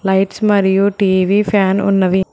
Lights మరియు TV fan ఉన్నవి.